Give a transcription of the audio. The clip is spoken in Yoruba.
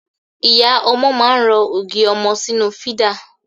Ìyá ọmọ máa ń rọ ògì ọmọ sínú fídà.